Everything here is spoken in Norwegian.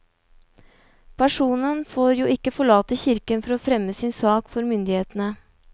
Personen får jo ikke forlate kirken for å fremme sin sak for myndighetene.